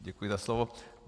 Děkuji za slovo.